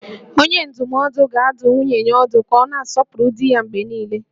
Onye ndụmọdụ ga-adụ nwunye ya ọdụ ka ọ na-asọpụrụ di ya mgbe niile